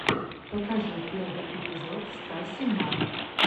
покажи первый эпизод стаси мар